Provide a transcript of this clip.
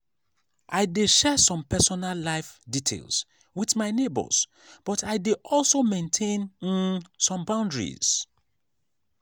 i dey share some personal life details with my neighbors but i dey also maintain um some boundaries.